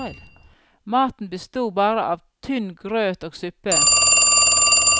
Maten besto bare av tynn grøt og suppe.